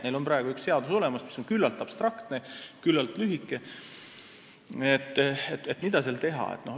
Neil on praegu olemas üks seadus, mis on küllaltki abstraktne ja lühike.